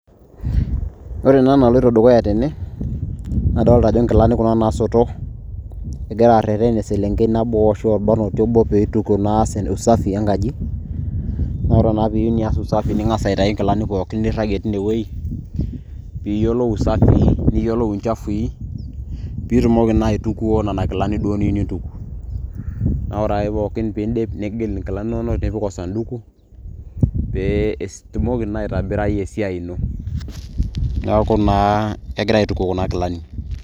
Ore ena naloito dukuya tene nadoolta ajo inkilani kuna naasoto egora areten eselenkei nabo ashuu orbanoti obo pee ees naa usafi enkaji naa ore naa pee iyieu nias usafi naa ing'as aitayu inkilani pooki niragie tine wueji piiyiolou isafii niyiolou inchafui piitumoki naa aitukuo nena kilani duo niyieu nintuku naa ore ake pooki peeindim nigil inkilani inonok nipik osanduku pee itumoki naa aitobirai esiai ino neeku naa kegirai aituku kuna kilani.